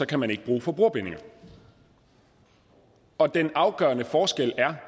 kan man ikke bruge forbrugerbindinger og den afgørende forskel er